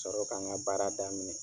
sɔrɔ ka n ka baara daminɛ.